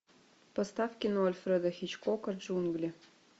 поставь кино альфреда хичкока джунгли